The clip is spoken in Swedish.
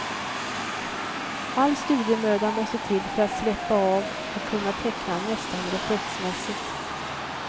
All studiemöda måste till för att släppa av och kunna teckna nästan reflexmässigt.